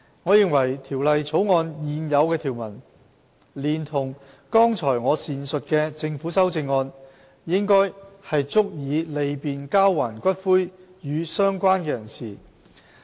我認為《條例草案》的現有條文，連同剛才我所闡述的政府修正案，應足以利便交還骨灰予"相關人士"。